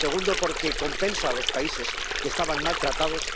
segundo, porque compensa a los países que estaban mal tratados